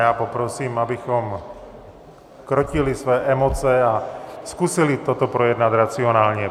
Já poprosím, abychom krotili své emoce a zkusili to projednat racionálně.